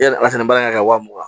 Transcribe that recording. Yala a fɛnɛ ba ka wa mugan